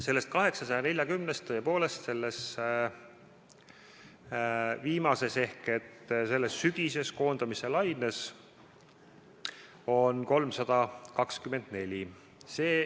Nendest 840-st sellesse viimasesse ehk sügisesesse koondamislainesse jääb tõepoolest 324.